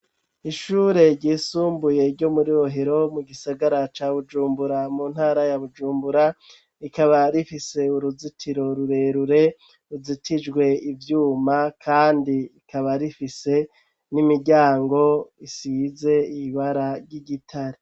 Ishure ryisumbuye ryo muri bohero mu gisagara ca Bujumbura mu ntara ya Bujumbura ikaba rifise uruzitiro rurerure ruzitijwe ivyuma kandi ikaba rifise n'imiryango isize ibara ry'igitare.